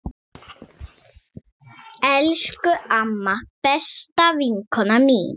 Elsku amma, besta vinkona mín.